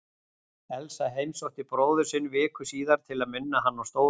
Elsa heimsótti bróður sinn viku síðar til að minna hann á stóru orðin.